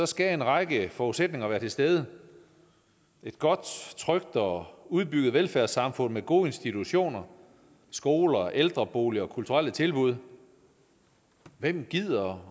skal en række forudsætninger være til stede et godt trygt og udbygget velfærdssamfund med gode institutioner skoler ældreboliger og kulturelle tilbud hvem gider